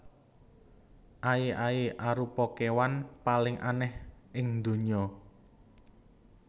Aye aye arupa kewan paling aneh ing ndonya